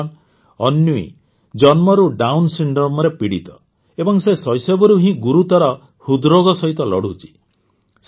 ବନ୍ଧୁଗଣ ଅନ୍ୱୀ ଜନ୍ମରୁ ଡାଉନ୍ ସିଣ୍ଡ୍ରୋମରେ ପୀଡ଼ିତ ଏବଂ ସେ ଶୈଶବରୁ ହିଁ ଗୁରୁତର ହୃଦରୋଗ ସହିତ ଲଢ଼ୁଛି